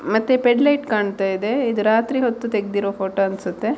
ಮತ್ತೆ ಫೆಡ್ ಲೈಟ್ ಕಾಣ್ತಾ ಇದೆ ಇದು ರಾತ್ರಿ ಹೊತ್ತು ತೆಗೆದಿರುವ ಫೋಟೋ ಅನ್ಸುತ್ತೆ .